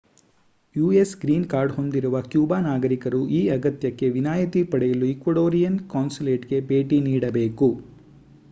US green card ಹೊಂದಿರುವ Cuba ನಾಗರಿಕರು ಈ ಅಗತ್ಯಕ್ಕೆ ವಿನಾಯಿತಿ ಪಡೆಯಲು ಈಕ್ವಡೋರಿಯನ್ ಕಾನ್ಸುಲೇಟ್‌ಗೆ ಭೇಟಿ ನೀಡಬೇಕು